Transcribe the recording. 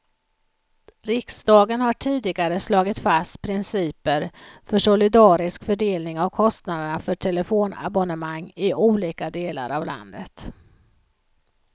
Riksdagen har tidigare slagit fast principer för solidarisk fördelning av kostnaderna för telefonabonnemang i olika delar av landet.